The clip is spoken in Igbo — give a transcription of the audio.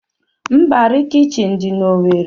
Mbarị kichin dị n'Owerri.